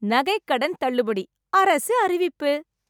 நகை கடன் தள்ளுபடி, அரசு அறிவிப்பு